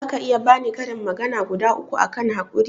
zaka iya bani karin magana guda uku akan haƙuri?